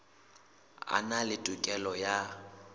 a na le tokelo ya